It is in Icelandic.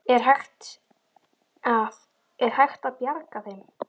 Er hægt að, er hægt að bjarga þeim?